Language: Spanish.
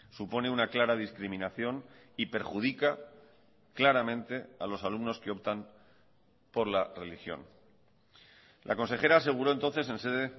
supone una clara discriminación y perjudica claramente a los alumnos que optan por la religión la consejera aseguró entonces en sede